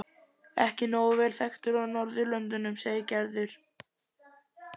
Ekki nóg að vera þekktur á Norðurlöndum segir Gerður.